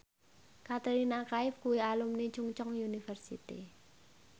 Katrina Kaif kuwi alumni Chungceong University